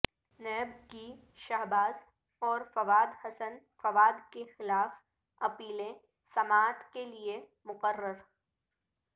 NAB کی شہباز اور فواد حسن فواد کیخلاف اپیلیں سماعت کیلئے مقرر